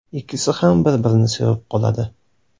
Ikkisi ham bir-birini sevib qoladi.